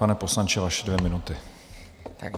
Pane poslanče, vaše dvě minuty.